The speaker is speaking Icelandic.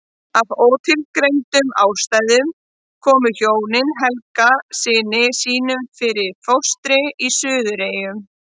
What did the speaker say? Af ótilgreindum ástæðum komu hjónin Helga syni sínum fyrir í fóstri í Suðureyjum.